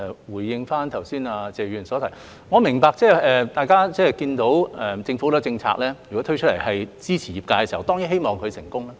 回應剛才謝議員的補充質詢，我明白大家看到政府推出很多政策支持業界，當然希望企業會成功。